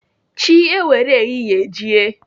Chi ewere ehihie jie.